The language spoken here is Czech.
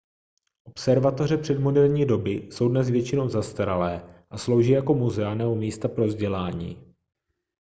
observatoře předmoderní doby jsou dnes většinou zastaralé a slouží jako muzea nebo místa pro vzdělání